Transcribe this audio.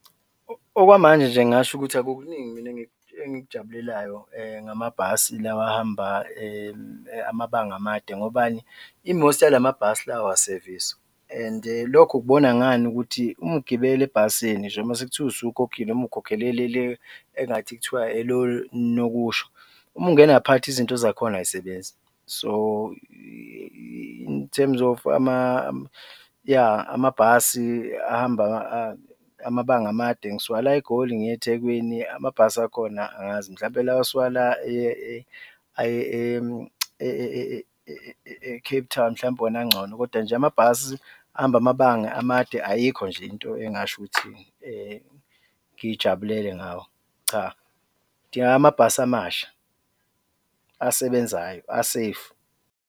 Okwamanje nje ngingasho ukuthi akukuningi mina engikujabulelayo ngamabhasi lawa ahamba amabanga amade, ngobani? I-most yalamabhasi lawa awaseviswa and-e lokho ukubona ngani? Ukuthi umgibeli ebhasini nje masekuthiwa usukhokhile, noma ukhokhele le engathi kuthiwa elonokusho, uma ungena ngaphakathi izinto zakhona ay'sebenzi. So in terms of yah, amabhasi ahamba amabanga amade, ngisuka la eGoli ngiye Ethekwini amabhasi akhona angazi, mhlawumbe lawa asuka la aya e-Cape Town mhlawumbe wona angcono kodwa nje amabhasi ahamba amabanga amade ayikho nje into engingasho ukuthi ngiyijabulele ngawo, cha, kudingeka amabhasi amasha, asebenzayo, a-safe.